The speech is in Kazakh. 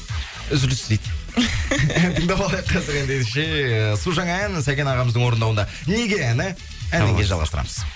үзіліс дейді тыңдап алайық қазір ендеше су жаңа ән сәкен ағамыздың орындауында неге әні әннен кейін жалғастырамыз